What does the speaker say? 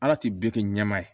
Ala ti bɛɛ kɛ ɲɛma ye